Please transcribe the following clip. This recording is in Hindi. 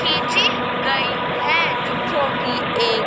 खीची गई है ज जो कि एक--